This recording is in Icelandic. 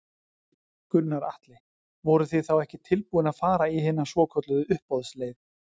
Gunnar Atli: Voruð þið þá ekki tilbúin að fara í hina svokölluðu uppboðsleið?